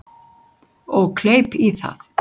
Og kleip í það.